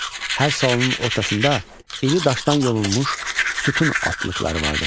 Hər salonun ortasında iri daşdan yonulmuş sütun altlıqları vardır.